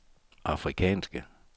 afrikanske